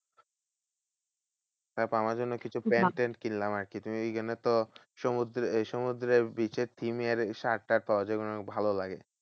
তারপর আমার জন্য কিছু প্যান্ট ট্যান্ট কিনলাম আরকি। তুমি এইগুলো তো সমুদ্রে এই সমুদ্রের beach এর theme এর shirt টার্ট পাওয়া যায়। ওগুলো অনেক ভালো লাগে।